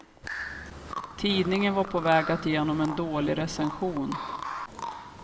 Tidningen var på väg att ge honom en dålig recension.